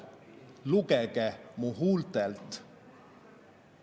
"Lugege mu huultelt.